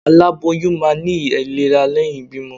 alaboyum ma ni ailerá leyin ìbímo